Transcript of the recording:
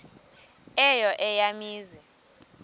eyo eya mizi